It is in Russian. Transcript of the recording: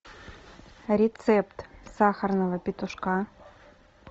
рецепт сахарного петушка